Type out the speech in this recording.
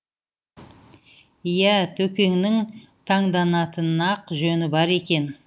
иә төкеңнің таңданатын ақ жөні бар екен